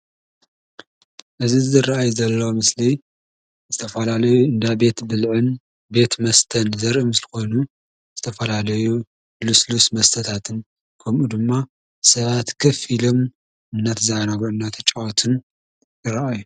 እዚ ዝርአይ ዘሎ ምስሊ ዝተፈላለዩ እንዳ ቤት ብልዕን ቤት መስተን ዘርኢ ምስሊ ኮይኑ ዝተፈላለዩ ልስሉስ መስተታትን ከምኡ ድማ ሰባት ከፍ ኢሎም እናተዘናግዑን እናተጫወቱን ይርኣዩ።